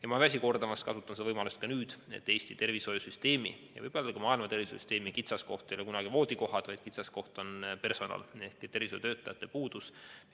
Ma ei väsi kordamast, kasutan seda võimalust nüüdki, et Eesti tervishoiusüsteemi ega ka muu maailma tervishoiusüsteemi kitsaskoht pole kunagi olnud voodikohad, vaid kitsaskoht on personali ehk tervishoiutöötajate puudus.